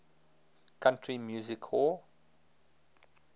country music hall